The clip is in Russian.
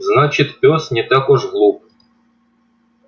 значит пёс не так уж глуп